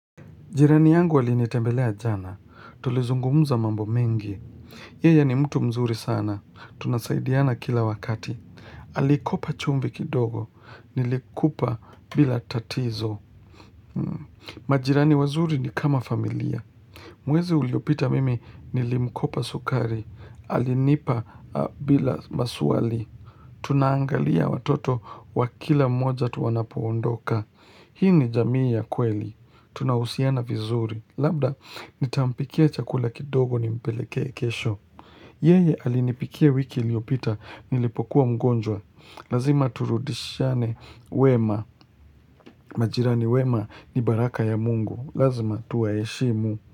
Jirani yangu alinitembelea jana. Tulizungumuza mambo mengi. Yeye ni mtu mzuri sana. Tunasaidiana kila wakati. Alikopa chumvi kidogo. Nilikupa bila tatizo. Majirani wazuri ni kama familia. Mwezi uliopita mimi nilimkopa sukari. Alinipa bila maswali. Tunaangalia watoto wa kila mmoja tuwanapoondoka. Hii ni jamii ya kweli. Tunahusiana vizuri. Labda nitampikia chakula kidogo nimpeleke kesho Yeye alinipikia wiki iliyopita nilipokuwa mgonjwa Lazima turudishane wema majirani wema ni baraka ya mungu Lazima tuwaheshimu.